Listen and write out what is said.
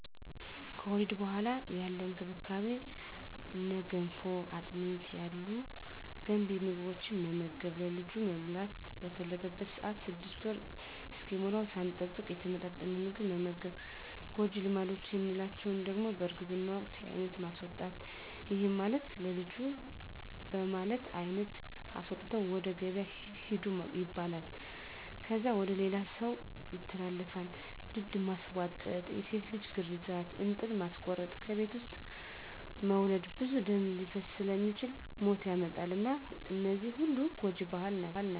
ከወሊድ በኋላ ያለ እንክብካቤ እነ ገንፎ፣ አጥሚት ያሉ ገንቢ ምግቦትን መመገብ፣ ለልጁ መብላት በፈለገበት ሰአት 6 ወር እስኪሞላዉ ሳንጠብቅ የተመጣጠነ ምግብ መመገብ። ጎጂ ልማዶች የምንላቸዉ ደሞ በእርግዝና ወቅት የአይነት ማስወጣት ይህም ማለት ለልጁ በማለት አይነት አስወጥተዉ ወደ ገበያ ሂዱ ይባላል። ከዛ ወደ ሌላ ሰዉ ይተላለፋል፣ ድድ ማስቧጠጥ፣ የሴት ልጅ ግርዛት፣ እንጥል ማስቆረጥ፣ ከቤት ዉስጥ መዉለድ ብዙ ደም ሊፈስ ስለሚችል ሞት ያመጣል እና እነዚህ ሁሉ ጎጂ ባህል ናቸዉ።